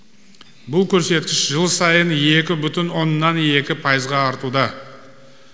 бұл көрсеткіш жыл сайын екі бүтін оннан екі пайызға артуда